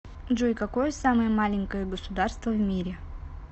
джой какое самое маленькое государство в мире